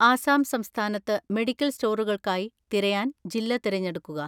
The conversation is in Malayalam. ആസാം സംസ്ഥാനത്ത് മെഡിക്കൽ സ്റ്റോറുകൾക്കായി തിരയാൻ ജില്ല തിരഞ്ഞെടുക്കുക.